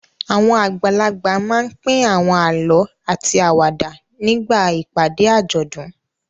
Àwọn àgbàlagbà máa ń pín àwọn àlọ́ àti àwàdà nígbà ìpàdé àjọ̀dún.